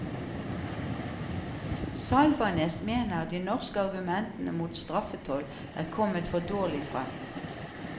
Salvanes mener de norske argumentene mot straffetoll er kommet for dårlig frem.